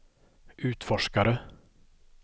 utforskare